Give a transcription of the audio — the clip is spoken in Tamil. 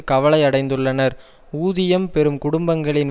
கவலை அடைந்துள்ளனர் ஊதியம் பெறும் குடும்பங்களின்